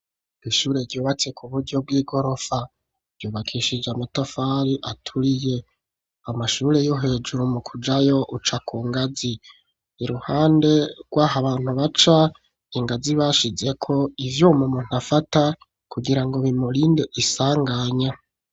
Ishure ryubatse ku buryo bw'igorofa, ryubakishije amatafari aturiye amashure yo hejuru mu kujayo uca ku ngazi, iruhande rwaho abantu baca ingazi bashizeko ivyo mu muntu afata kugira ngo bimurinde isanganya.